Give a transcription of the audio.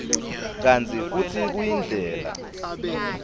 kantsi futsi kuyindlela